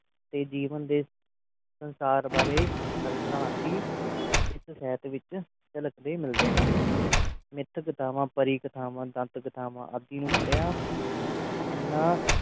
ਤੇ ਜੀਵਨ ਦੇ ਸੰਸਾਰ ਬਾਰੇ ਅਲਪਪਰਾਨਤੀ ਇਸ ਸ਼ਹਿਰ ਵਿਚ ਛਲਕਦੇ ਮਿਲਦੇ ਹਨ ਨਿੱਤ ਕਥਾਵਾਂ ਪਰੀ ਕਥਾਵਾਂ ਦੰਨਤ ਕਥਾਵਾਂ ਆਦੀ ਨੂੰ ਪੜਿਆ ਇਹਨਾਂ